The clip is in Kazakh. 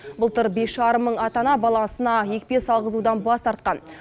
былтыр бес жарым мың ата ана баласына екпе салғызудан бас тартқан